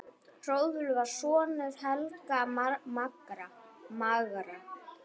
Hrólfur var sonur Helga magra.